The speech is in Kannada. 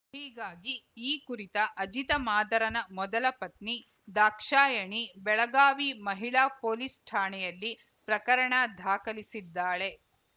ಹೀಗಾಗಿ ಈ ಕುರಿತು ಅಜಿತ ಮಾದರನ ಮೊದಲ ಪತ್ನಿ ದಾಕ್ಷಾಯಣಿ ಬೆಳಗಾವಿ ಮಹಿಳಾ ಪೊಲೀಸ್‌ ಠಾಣೆಯಲ್ಲಿ ಪ್ರಕರಣ ದಾಖಲಿಸಿದ್ದಾಳೆ